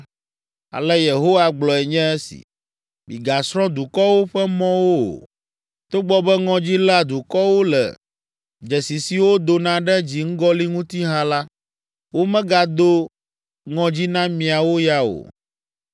Ale Yehowa gblɔe nye esi: “Migasrɔ̃ dukɔwo ƒe mɔwo o. Togbɔ be ŋɔdzi léa dukɔwo le dzesi siwo dona ɖe dziŋgɔli ŋuti hã la, womegado ŋɔdzi na miawo ya o.